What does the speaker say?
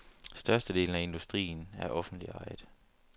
Størstedelen af industrien er offentligt ejet.